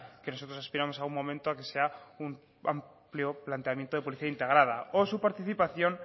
que nosotros aspiramos a un momento a que sea un amplio planteamiento de policía integrada o su participación